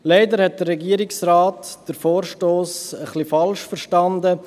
Leider hat der Regierungsrat den Vorstoss etwas falsch verstanden.